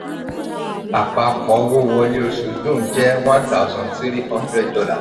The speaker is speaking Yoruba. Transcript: àpapò owó wọlé oṣù june jẹ́ one thousand three hundred dollar